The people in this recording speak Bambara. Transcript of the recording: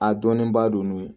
A dɔnnenba don n'o ye